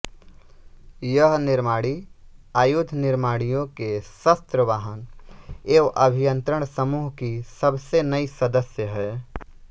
यह निर्माणी आयुध निर्माणियों के शस्त्र वाहन एवं अभियंत्रण समूह की सबसे नई सदस्य है